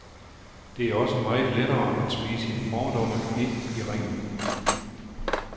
Det er jo også meget lettere at smide sine fordomme ind i ringen.